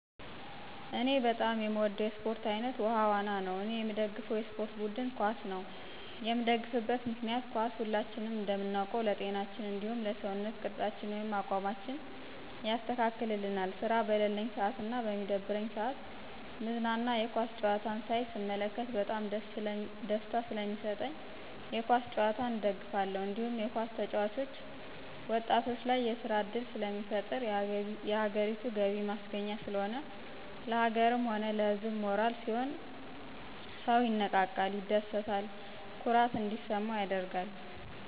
እኔ በጣም የምወደው የስፖርት አይነት ውሀ ዋና ነው እኔየምደግፈው የስፖርት ቡድን ኳስ ነው የምደግፍበት ምክንያት ኳስ ሁላችንም እንደምናውቀው ለጤናችን እንዲሁም ለሰውነት ቅርፃችን ወይም አቋማችን ያስተካክልልናል ስራ በለለኝ ስአትና በሚደብረኝ ስአት ምዝናና የኳስ ጨዋታዎችን ሳይ ስመለከት በጣም ደስታ ሰለሚስጠኝ የኳስ ጭዋታን እደግፋለሁ። እንዲሁም የኳስ ተጨዋቾች ወጣቶች ላይ የስራ እድል ስለሚፈጥር የሀገሪቱ የገቢ ማስገኛ ስለሆነ፣ ለሀገርም ሆነ ለህዝብ ሞራል ሲሆን ሰው ይነቃቃል፣ ይደስታ፣ ኩራት እንዲሰማው ያደርጋል።